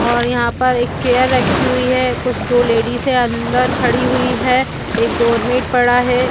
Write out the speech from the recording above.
और यहाँ पर एक चेयर रखी हुई है कुछ दो लेडीज है अंदर खड़ी हुई है एक डोरमेट पड़ा है।